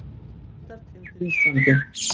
Kristallar tengdir Íslandi